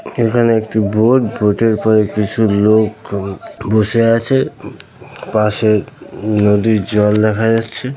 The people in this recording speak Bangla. এখানে একটি বোট । বটের পরে কিছু লোক বসে আছে। পাশে উ নদীর জল দেখা যাচ্ছে।